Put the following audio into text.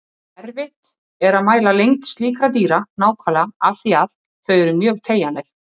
Erfitt er að mæla lengd slíkra dýra nákvæmlega af því að þau eru mjög teygjanleg.